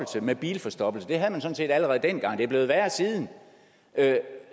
med bilforstoppelse det havde man sådan set allerede dengang men det er blevet værre siden